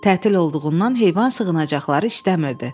Tətil olduğundan heyvan sığınacaqları işləmirdi.